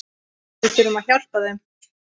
Við þurfum að hjálpa þeim.